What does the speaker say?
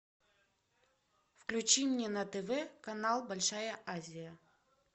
включи мне на тв канал большая азия